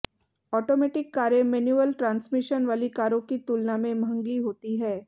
automatic कारें manual transmission वाली कारों की तुलना में महंगी होती हैं